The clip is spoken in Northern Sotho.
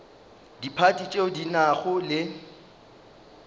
diphathi tšeo di nago le